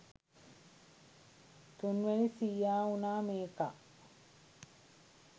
තුන්වෙනි සීයා වුණා මේකා.